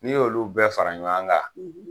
N'i y'olu bɛɛ fara ɲɔan ka